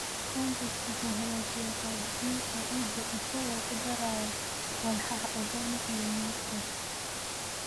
Compost wuxuu hagaajiyaa qaab dhismeedka ciidda isagoo ku daraya walxaha organic iyo microbes.